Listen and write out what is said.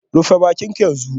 Rufe bakinka yanzu